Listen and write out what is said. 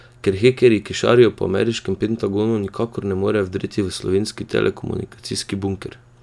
Ker hekerji, ki šarijo po ameriškem Pentagonu, nikakor ne morejo vdreti v slovenski telekomunikacijski bunker?